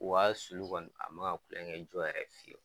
Wa a sulu kɔni a ma kulonkɛ jɔ yɛrɛ fiyewu.